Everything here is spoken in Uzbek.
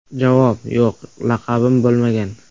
Javob: Yo‘q, laqabim bo‘lmagan.